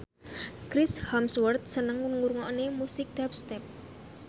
Chris Hemsworth seneng ngrungokne musik dubstep